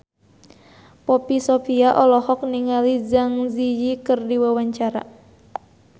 Poppy Sovia olohok ningali Zang Zi Yi keur diwawancara